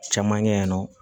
Caman kɛ yen nɔ